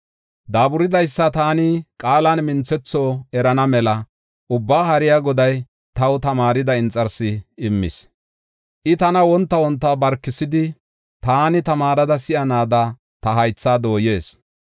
Daaburidaysa taani qaalan minthetho erana mela, Ubbaa Haariya Goday taw tamaarida inxarsi immis. I tana wonta wonta barkisidi, taani tamaareda si7anaada ta haythaa dooyees.